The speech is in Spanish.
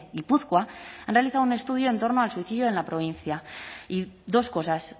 gipuzkoa ha realizado un estudio en torno al suicidio en la provincia y dos cosas